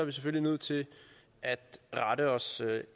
vi selvfølgelig nødt til at rette os